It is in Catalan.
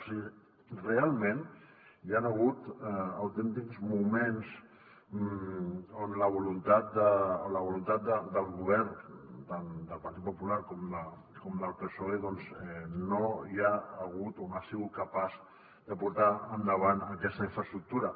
o sigui realment hi han hagut autèntics moments on la voluntat del govern tant del partit popular com del psoe doncs no hi ha sigut o no ha sigut capaç de portar endavant aquesta infraestructura